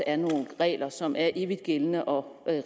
er nogle regler som er evigt gældende og